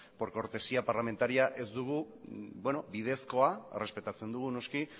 por cortesía parlamentaria ez dugu bidezkoa errespetatzen dugu noski